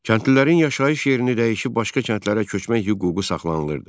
Kəndlilərin yaşayış yerini dəyişib başqa kəndlərə köçmək hüququ saxlanılırdı.